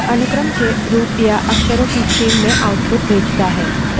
प्रत्येक अक्षर इसके एक पहले या इसके एक बाद से स्वतंत्र होता है